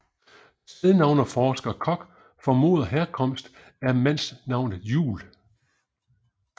Stednavneforsker Kok formoder herkomst af mandsnavnet Jul